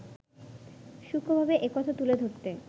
সূক্ষ্ণভাবে একথা তুলে ধরতে